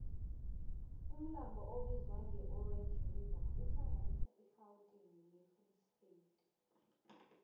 umlambo obizwangeorange river uhlanganisa irhawuteni nefree state